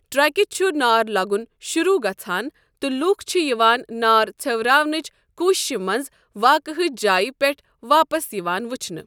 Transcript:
ٹرکہِ چھُ نار لگُن شروٗع گژھَان تہٕ لوٗکھ چھِ یِوان نار ژھیوراونٕچ کوٗششہِ منٛز واقعہٕچ جایہِ پٮ۪ٹھ واپس یِوان وُچھنہٕ۔